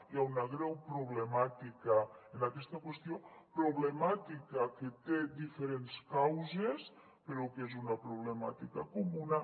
hi ha una greu problemàtica en aquesta qüestió problemàtica que té diferents causes però que és una problemàtica comuna